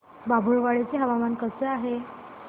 बाभुळवाडी चे हवामान कसे आहे